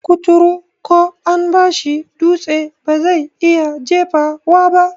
Kuturu ko an bashi dutse bazai iya jefawa ba